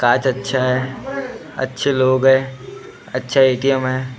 कांच अच्छा है अच्छे लोग हैं अच्छा ए टी एम है।